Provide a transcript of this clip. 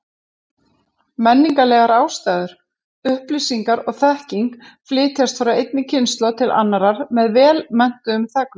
Menningarlegar ástæður: Upplýsingar og þekking flytjast frá einni kynslóð til annarrar með vel menntuðum þegnum.